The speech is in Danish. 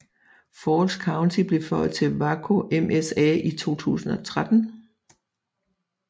Falls County blev føjet til Waco MSA i 2013